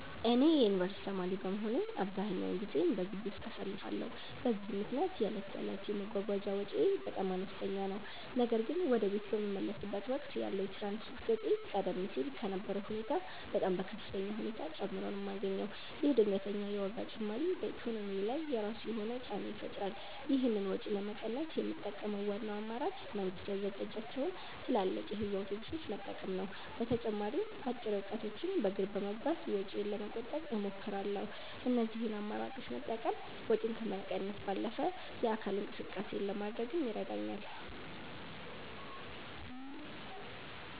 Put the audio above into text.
እኔ የዩኒቨርሲቲ ተማሪ በመሆኔ አብዛኛውን ጊዜዬን በግቢ ውስጥ አሳልፋለሁ፤ በዚህም ምክንያት የዕለት ተዕለት የመጓጓዣ ወጪዬ በጣም አነስተኛ ነው። ነገር ግን ወደ ቤት በምመለስበት ወቅት ያለው የትራንስፖርት ወጪ ቀደም ሲል ከነበረው ሁኔታ በጣም በከፍተኛ ሁኔታ ጨምሮ ነው የማገኘው። ይህ ድንገተኛ የዋጋ ጭማሪ በኢኮኖሚዬ ላይ የራሱ የሆነ ጫና ይፈጥራል። ይህንን ወጪ ለመቀነስ የምጠቀመው ዋናው አማራጭ መንግስት ያዘጋጃቸውን ትላልቅ የህዝብ አውቶቡሶች መጠቀም ነው። በተጨማሪም አጭር ርቀቶችን በእግር በመጓዝ ወጪዬን ለመቆጠብ እሞክራለሁ። እነዚህን አማራጮች መጠቀም ወጪን ከመቀነስ ባለፈ የአካል ብቃት እንቅስቃሴ ለማድረግም ይረዳኛል።